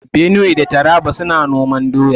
Benue da Taraba suna noman doya.